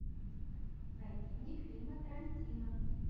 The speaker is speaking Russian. найди мне фильмы тарантино